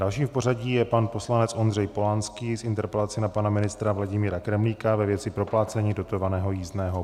Další v pořadí je pan poslanec Ondřej Polanský s interpelací na pana ministra Vladimíra Kremlíka ve věci proplácení dotovaného jízdného.